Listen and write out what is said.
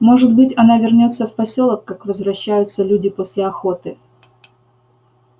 может быть она вернётся в посёлок как возвращаются люди после охоты